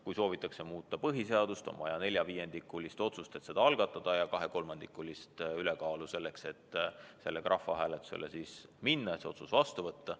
Kui soovitakse muuta põhiseadust, on vaja neljaviiendikulise otsust, et seda algatada, ja kahekolmandikulist häälteenamust, et sellega rahvahääletusele minna ja otsus vastu võtta.